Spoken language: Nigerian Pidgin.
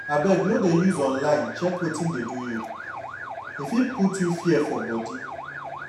abeg no de use online check wetin dey do you e fit put you fear for body.